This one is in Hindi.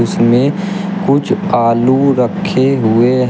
इसमें कुछ आलू रखे हुए हैं।